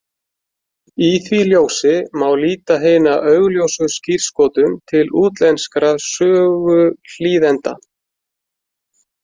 Í því ljósi má líta hina augljósu skírskotun til útlenskra söguhlýðenda.